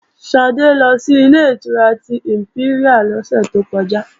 Ṣadé ló si Ilé-ìtura tí ìmpẹ́ríà lọ́sẹ̀ tó kọjá